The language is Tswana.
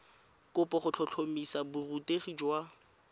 kopo go tlhotlhomisa borutegi jwa